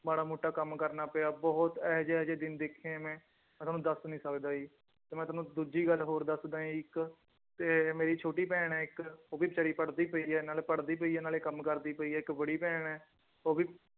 ਮਾੜਾ ਮੋਟਾ ਕੰਮ ਕਰਨਾ ਪਿਆ ਬਹੁਤ ਇਹ ਜਿਹੇ ਇਹ ਜਿਹੇ ਦਿਨ ਦੇਖੇ ਹੈ ਮੈਂ, ਮੈਂ ਤੁਹਾਨੂੰ ਦੱਸ ਨੀ ਸਕਦਾ ਜੀ ਤੇ ਮੈਂ ਤੁਹਾਨੂੰ ਦੂਜੀ ਗੱਲ ਹੋਰ ਦੱਸਦਾਂ ਇੱਕ ਤੇ ਮੇਰੀ ਛੋਟੀ ਭੈਣ ਹੈ ਇੱਕ ਉਹ ਬੇਚਾਰੀ ਪੜ੍ਹਦੀ ਪਈ ਹੈ ਨਾਲੇ ਪੜ੍ਹਦੀ ਪਈ ਹੈ ਨਾਲੇ ਕੰਮ ਕਰਦੀ ਪਈ ਹੈ ਇੱਕ ਬੜੀ ਭੈਣ ਹੈ ਉਹ ਵੀ